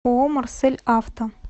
ооо марсель авто